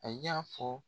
A y'a fɔ